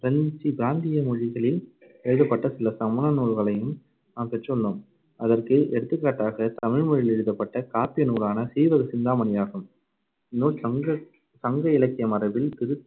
பிரந்தி~ பிராந்திய மொழிகளில் எழுதப்பட்ட சில சமண நூல்களையும் நாம் பெற்றுள்ளோம். அதற்கு எடுத்துக்காட்டாக தமிழ்மொழியில் எழுதப்பட்ட காப்பிய நூலான சீவகசிந்தாமணி ஆகும். இந்நூல் சங்க சங்க இலக்கிய மரபில்